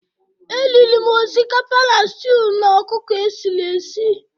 E riri m osikapa na stew na ọkụkọ esiri esi